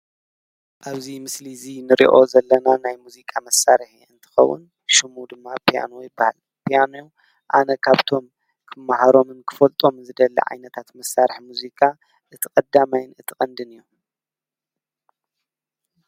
ኣብዙይ ምስሊ እዙይ ንርኦ ዘለና ናይ ሙዚቃ መሣርሕ እየእንትኸውን ሽሙ ድማ ፑያን ይበሃል ጵያኔዮ ኣነ ካብቶም ኽመሃሮምን ክፈልጦም ዝደሊ ዓይነታት መሣርሕ ሙዚካ እቲቐዳማይን እትቐንድን እዩ።